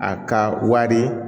A ka wari